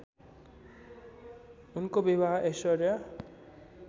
उनको विवाह ऐश्वर्या